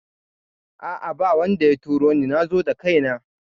A'a babu wanda ya turoni nazo da kaina